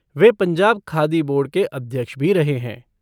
वे Punjab Khadi board के अध्यक्ष भी रहे हैं।